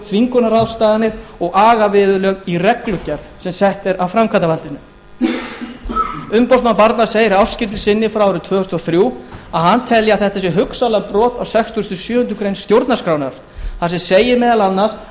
þvingunarráðstafanir og agaviðurlög í reglugerð sem sett er af framkvæmdarvaldinu umboðsmaður barna segir í ársskýrslu sinni frá árinu tvö þúsund og þrjú að hann telji að þetta sé hugsanlega brot á sextugasta og sjöundu grein stjórnarskrárinnar þar sem segir meðal annars